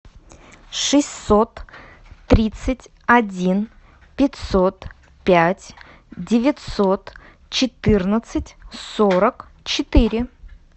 шестьсот тридцать один пятьсот пять девятьсот четырнадцать сорок четыре